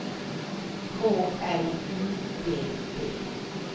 K L U B B